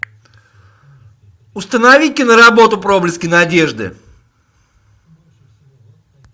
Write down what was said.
установи киноработу проблески надежды